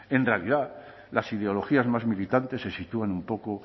en realidad las ideologías más militantes se sitúan un poco